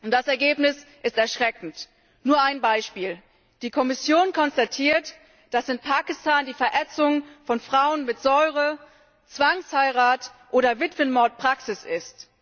Das Ergebnis ist erschreckend. Nur ein Beispiel Die Kommission konstatiert, dass in Pakistan die Verätzung von Frauen mit Säure, Zwangsheirat oder Witwenmord Praxis ist.